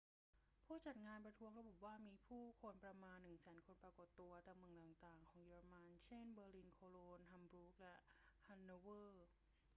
ผู้จัดงานประท้วงระบุว่ามีผู้คนประมาณ 100,000 คนปรากฏตัวตามเมืองต่าง ๆ ของเยอรมัน เช่น เบอร์ลิน โคโลญ ฮัมบูร์ก และฮันโนเวอร์